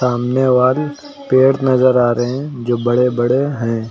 सामने पेड़ नजर आ रहे है जो बड़े बड़े है।